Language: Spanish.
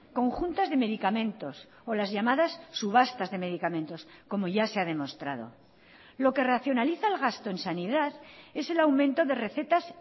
conjuntas de medicamentos o las llamadas subastas de medicamentos como ya se ha demostrado lo que racionaliza el gasto en sanidad es el aumento de recetas